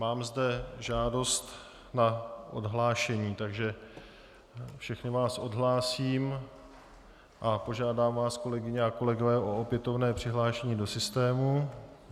Mám zde žádost na odhlášení, takže všechny vás odhlásím a požádám vás, kolegyně a kolegové, o opětovné přihlášení do systému.